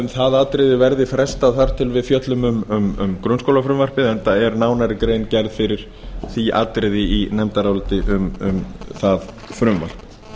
það atriði verði frestað þar til við fjöllum um grunnskólafrumvarpið enda er nánari grein gerð fyrir því atriði í nefndaráliti um það frumvarp